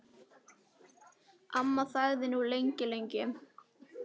Amma þagði nú lengi, lengi.